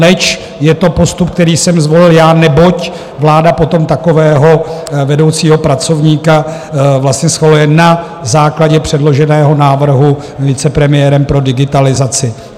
Leč je to postup, který jsem zvolil já, neboť vláda potom takového vedoucího pracovníka vlastně schvaluje na základě předloženého návrhu vicepremiérem pro digitalizaci.